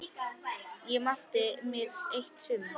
Ég átti mér eitt sumar.